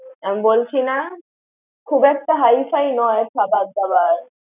আমি বলছি না, খুব একটা হাইফাই নয় খবার দাবার।